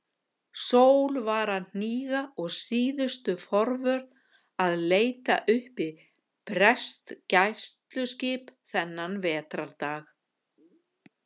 Sól var að hníga og síðustu forvöð að leita uppi breskt gæsluskip þennan vetrardag.